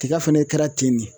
Tiga fɛnɛ kɛra ten de.